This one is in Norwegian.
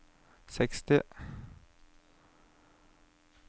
seksti